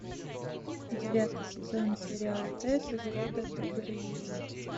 девятый сезон сериал тэсс из рода д эрбервиллей